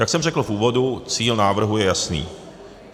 Jak jsem řekl v úvodu, cíl návrhu je jasný.